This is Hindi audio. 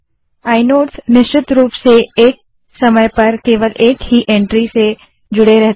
आइनोड निश्चित रूप से एक समय पर केवल एक ही एंट्री से जुड़े रहते हैं